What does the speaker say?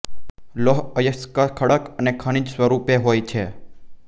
લોહ અયસ્ક ખડક અને ખનિજ સ્વરૂપે હોય છે